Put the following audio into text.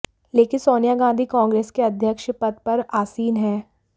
लेकिन सोनिया गांधी कांग्रेस के अध्यक्ष पद पर आसीन है